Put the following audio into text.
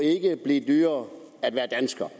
blive dyrere at være dansker